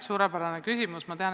Suurepärane küsimus!